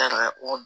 Taara o